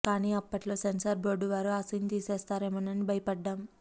కానీ అప్పట్లో censor board వారు ఆ సీన్ తీసేస్తారేమో అని భయపడ్డాం